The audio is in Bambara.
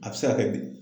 A bɛ se ka kɛ bi